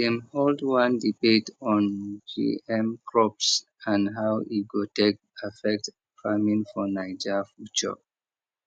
dem hold one debate on gm crops and how e go take affect farming for naija future